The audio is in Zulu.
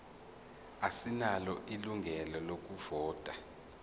asinalo ilungelo lokuvota